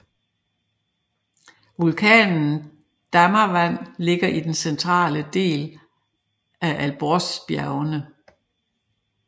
Vulkanen Damavand ligger i den centrale del af Alborzbjergene